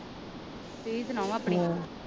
ਤੁਸੀ ਸੁਣਾਓ ਆਪਣੀ?